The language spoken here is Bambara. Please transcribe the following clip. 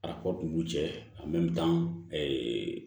Arabu n'u cɛ